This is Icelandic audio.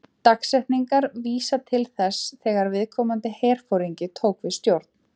Dagsetningarnar vísa til þess þegar viðkomandi herforingi tók við stjórn.